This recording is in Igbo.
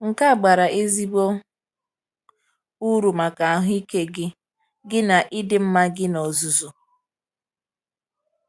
Nke a bara ezigbo uru maka ahụike gị gị na ịdị mma gị n’ozuzu.